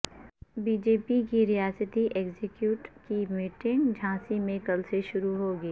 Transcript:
be J P کی ریاستی executive کی میٹنگ جھانسی میں کل سے شروع ہوگی